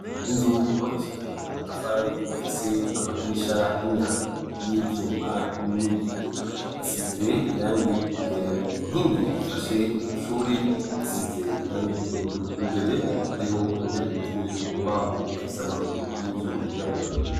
Inzu yubakishije amatafari ifise amadirisha n'imyango y'ibyuma n'ibiyo. Asize irangi igera inkingi zifashe iryoshuri ishize irangi ry'ubururu imbere hariho intebe ikozwe mu mbaho ifise amaguru y'ivyuma yirabura.